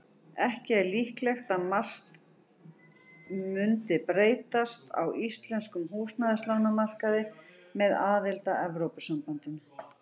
Ekki er líklegt að margt mundi breytast á íslenskum húsnæðislánamarkaði með aðild að Evrópusambandinu.